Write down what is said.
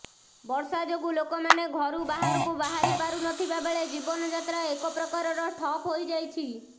ବର୍ଷା ଯୋଗୁ ଲୋକମାନେ ଘରୁ ବାହାରକୁ ବାହାରି ପାରୁନଥିବା ବେଳେ ଜୀବନ ଯାତ୍ରା ଏକ ପ୍ରକାରର ଠପ୍ ହୋଇଯାଇଛି